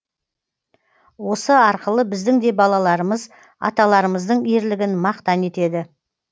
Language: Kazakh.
осы арқылы біздің де балаларымыз аталарымыздың ерлігін мақтан етеді